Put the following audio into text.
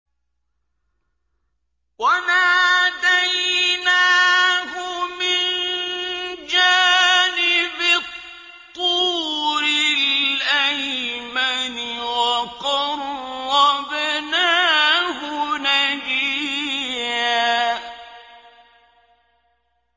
وَنَادَيْنَاهُ مِن جَانِبِ الطُّورِ الْأَيْمَنِ وَقَرَّبْنَاهُ نَجِيًّا